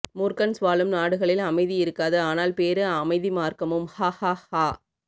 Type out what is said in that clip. மூர்க்கன்ஸ் வாழும் நாடுகளில் அமைதி இருக்காது ஆனால் பேரு அமைதி மார்க்கமும் ஹாஹாஹா